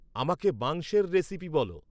আমাকে মাংসের রেসিপি বল